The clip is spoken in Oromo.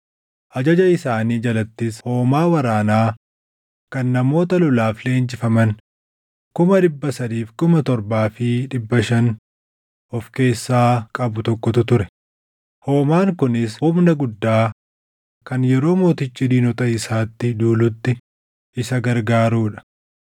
Ajaja isaanii jalattis hoomaa waraanaa kan namoota lolaaf leenjifaman 307,500 of keessaa qabu tokkotu ture; hoomaan kunis humna guddaa kan yeroo mootichi diinota isaatti duulutti isa gargaaruu dha.